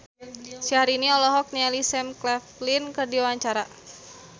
Syahrini olohok ningali Sam Claflin keur diwawancara